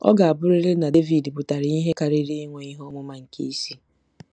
Ọ ga-abụrịrị na Devid pụtara ihe karịrị inwe ihe ọmụma nke isi.